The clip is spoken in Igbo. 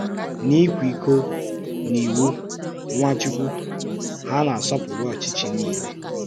N’íkwekọ́ n’ìwù Nwàchùkwù, hà na-àsọpụrụ́ ọ́chịchì niile